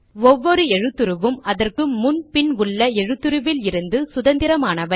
ஒவ்வொரு எழுத்துருவும் அதற்கு முன் பின் உள்ள எழுத்துருவில் இருந்து சுதந்திரமானது